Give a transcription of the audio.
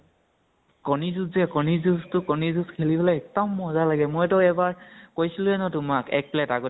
কণী যুঁজ যে, কণী যুঁজতো, কণী যুঁজ খেলিবলৈ এক্দম মজা লাগে, মই তো এবাৰ, কৈছিলোৱে ন তোমাক এক plate আগতিয়াকে